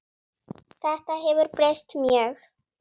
Þetta hefur breyst mjög.